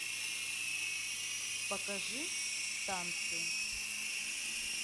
покажи танцы